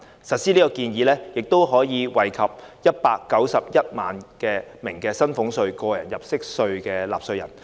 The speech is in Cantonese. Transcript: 實施這項建議可惠及191萬名薪俸稅和個人入息課稅的納稅人。